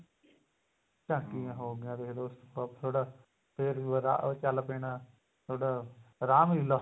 ਝਾਂਕੀਆਂ ਹੋ ਗਈਆਂ ਦੇਖਲੋ ਉਸ ਤੋਂ ਬਾਅਦ ਫੇਰ ਉਹ ਚੱਲ ਪੈਣਾ ਤੁਹਾਡਾ ਰਾਮ ਲੀਲਾ